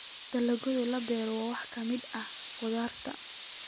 Dalagyada la beero waxaa ka mid ah khudaarta.